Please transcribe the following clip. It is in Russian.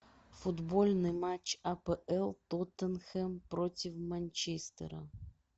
футбольный матч апл тоттенхэм против манчестера